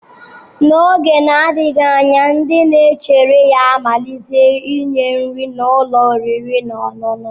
N'oge na-adịghị anya ndị na-echere ga-amalite inye nri na ụlọ oriri na ọṅụṅụ.